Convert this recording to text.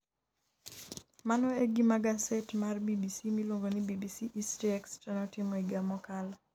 Mano e gima gaset mar BBC miluongo ni BBC HistoryExtra notimo higa mokalo.